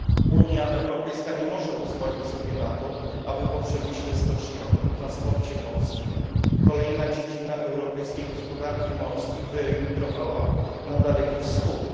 Unia Europejska nie może pozwolić sobie na to, aby po przemyśle stoczniowym i transporcie morskim kolejna dziedzina europejskiej gospodarki morskiej wyemigrowała na Daleki Wschód.